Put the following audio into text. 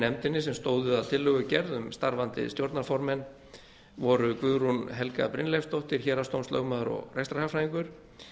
nefndinni sem stóðu að tillögugerð um starfandi stjórnarformenn voru guðrún helga brynleifsdóttir héraðsdómslögmaður og rekstrarhagfræðingur